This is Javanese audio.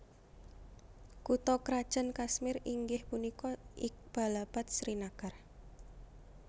Kutha krajan Kashmir inggih punika Iqbalabad Srinagar